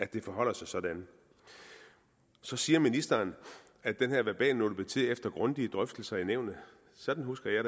det forholder sig sådan så siger ministeren at den her verbalnote blev til efter grundige drøftelser i nævnet sådan husker jeg